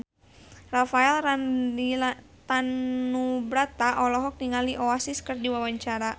Rafael Landry Tanubrata olohok ningali Oasis keur diwawancara